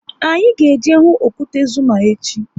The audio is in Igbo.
Anyị ga eje hụ okwute Zuma echi